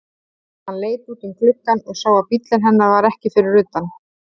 Hann leit út um gluggann og sá að bíllinn hennar var ekki fyrir utan.